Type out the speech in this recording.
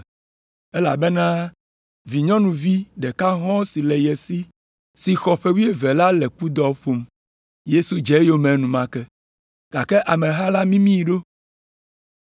elabena vinyɔnuvi ɖeka hɔ̃ si le ye si si xɔ ƒe wuieve la le kudɔ ƒom. Yesu dze eyome enumake, gake ameha la mimii ɖo.